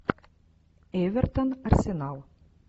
эвертон арсенал